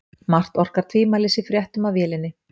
Margt orkar þó tvímælis í fréttum af vélinni.